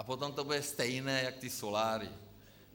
A potom to bude stejné jako ty soláry.